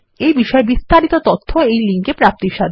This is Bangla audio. এই বিষয়ে বিস্তারিত তথ্য এই লিঙ্ক এ প্রাপ্তিসাধ্য